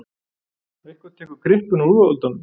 Eitthvað tekur kryppuna úr úlfaldanum